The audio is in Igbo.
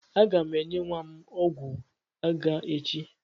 Aga m enye nwa m ọgwụ àgá echi.